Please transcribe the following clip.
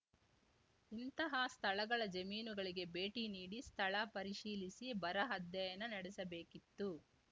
ಇಂತಹ ಸ್ಥಳಗಳ ಜಮೀನುಗಳಿಗೆ ಭೇಟಿ ನೀಡಿ ಸ್ಥಳ ಪರಿಶೀಲಿಸಿ ಬರ ಅಧ್ಯಯನ ನಡೆಸಬೇಕಿತ್ತು